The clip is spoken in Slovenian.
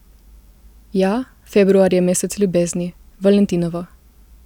Ja, februar je mesec ljubezni, valentinovo.